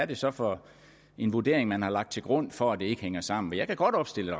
det så for en vurdering man har lagt til grund for at det ikke hænger sammen jeg kan godt opstille